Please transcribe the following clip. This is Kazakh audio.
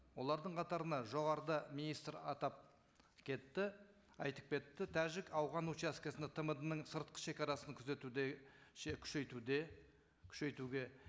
олардың қатарына жоғарыда министр атап кетті айтып кетті тәжік ауған учаскесінде тмд ның сыртқы шегарасын күзетуде күшейтуде күшейтуге